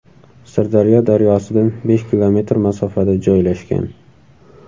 Sirdaryo daryosidan besh kilometr masofada joylashgan.